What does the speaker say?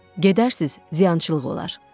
Gedərsiz, ziyançılıq olar.